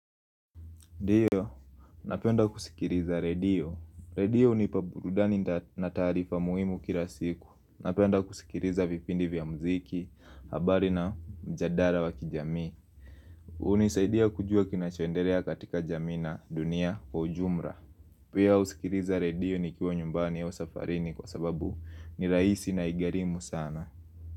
Ndio, napenda kusikiliza redio. Redio hunipa burudani na tarifa muhimu kila siku. Napenda kusikiliza vipindi vya mziki, habari na mjadala wa kijamii. Hunisaidia kujua kinachoendelea katika jamii na dunia kwa ujumla. Pia husikiliza redio nikiwa nyumbani au safarini kwa sababu ni rahisi na haigharimu sana.